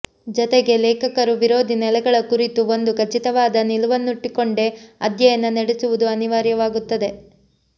ಜತೆಗೆ ಲೇಖಕರು ವಿರೋಧಿ ನೆಲೆಗಳ ಕುರಿತು ಒಂದು ಖಚಿತವಾದ ನಿಲುವನ್ನಿಟ್ಟುಕೊಂಡೇ ಅಧ್ಯಯನ ನಡೆಸುವುದು ಅನಿವಾರ್ಯವಾಗುತ್ತದೆ